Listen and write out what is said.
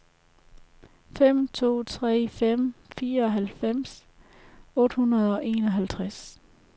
fem to tre fem fireoghalvtreds otte hundrede og enoghalvtreds